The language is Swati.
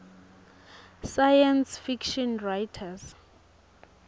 science fiction writers